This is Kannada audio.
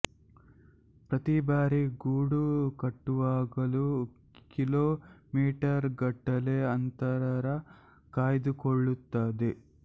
ಪ್ರತಿಬಾರಿ ಗೂಡು ಕಟ್ಟುವಾಗಲೂ ಕಿಲೋ ಮೀಟರ್ ಗಟ್ಟಲೆ ಅಂತರ ಕಾಯ್ದುಕೊಳ್ಳುತ್ತದೆ